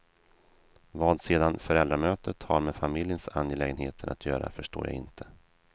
Vad sedan föräldramötet har med familjens angelägenheter att göra förstår jag inte.